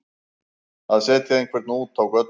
Að setja einhvern út á götuna